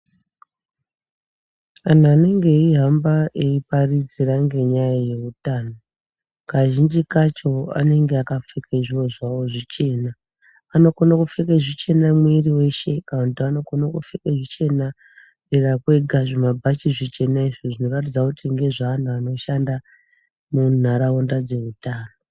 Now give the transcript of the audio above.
Anhu anenge eihamba eiparidzira ngenyaya yeutano , kazhinji kacho anenge akapfeka zviro zvawo zvichena , anokona kupfeka zvichena mwiri weshe kana kuti anokona kupfeka zvichena dera kwega zvimabhachi zvichena izvi zvinoratidza kuti ngezveanhu anoshanda munharaunda dzeutano.